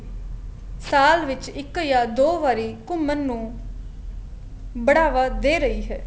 ਸਾਲ ਵਿੱਚ ਇੱਕ ਦੋ ਵਾਰੀ ਘੁੰਮਣ ਨੂੰ ਬਢਾਵਾ ਦੇ ਰਹੀ ਹੈ